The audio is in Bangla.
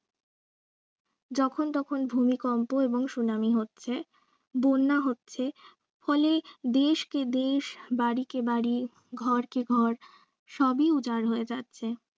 যখন তখন ভুমিকম্প এবং সুনামি হচ্ছে, বন্যা হচ্ছে ফলে দেশকে দেশ বাড়িকে বাড়ি ঘরকে ঘর সবই উজার হয়ে যাচ্ছে।